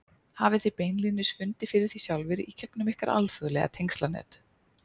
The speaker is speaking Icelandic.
Hafið þið beinlínis fundið fyrir því sjálfir í gegnum ykkar alþjóðlega tengslanet?